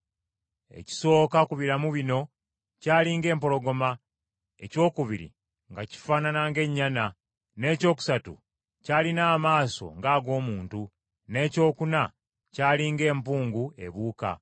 Ekisooka ku biramu bino kyali ng’empologoma, ekyokubiri nga kifaanana ng’ennyana, n’ekyokusatu kyalina amaaso ng’ag’omuntu, n’ekyokuna kyali ng’empungu, ebuuka.